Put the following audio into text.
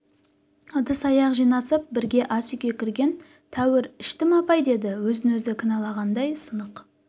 ыдыс-аяқ жинасып бірге ас үйге кірген тәуір іштім апай деді өзін-өзі кінәләғандай сынық